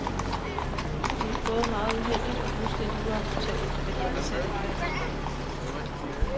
Det er både meget uheldigt og fuldstændig uacceptabelt, at de ansatte ikke har fået fri.